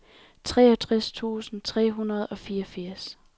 toogtres tusind tre hundrede og fireogfirs